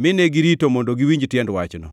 mine girito mondo giwinj tiend wachno.